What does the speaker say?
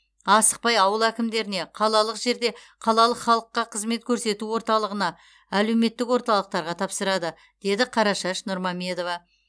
асықпай ауыл әкімдеріне қалалық жерде қалалық халыққа қызмет көрсету орталығына әлеуметтік орталықтарға тапсырады деді қарашаш нұрмамедова